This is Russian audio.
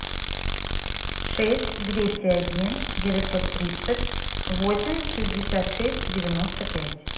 шесть двести один девятьсот тридцать восемь шестьдесят шесть девяносто пять